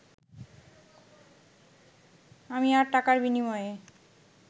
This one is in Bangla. আমি আর টাকার বিনিময়ে